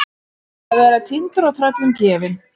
Að vera týndur og tröllum gefin